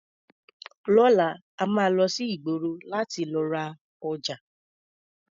Lọ́la, a máa lọ sí ìgboro láti lọ ra ọjà.